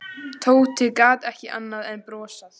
Tóti gat ekki annað en brosað.